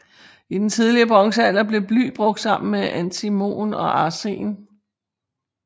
I den tidlige bronzealder blev bly brugt sammen med antimon og arsen